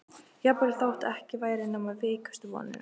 Jafnvel þótt ekki væri nema veikustu vonina.